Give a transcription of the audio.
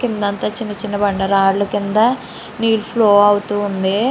కింద అంత చిన్న చిన్న బండ రయిలు క్రింద నీలు ఫ్లో అవుతుంది.